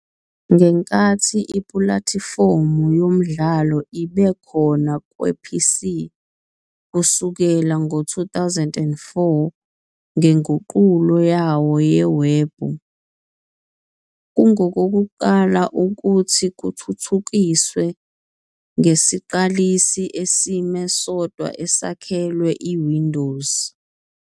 Ngenkathi ipulatifomu yomdlalo ibe khona kwe-PC kusukela ngo-2004 ngenguqulo yayo yewebhu, kungokokuqala ukuthi kuthuthukiswe ngesiqalisi esime sodwa esakhelwe iWindows.